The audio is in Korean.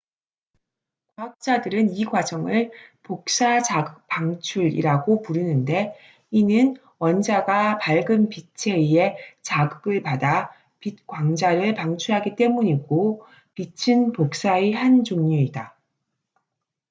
"과학자들은 이 과정을 "복사 자극 방출""이라고 부르는데 이는 원자가 밝은 빛에 의해 자극을 받아 빛 광자를 방출하기 때문이고 빛은 복사의 한 종류이다.